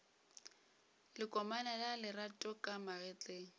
lekomane la lerato ka magetleng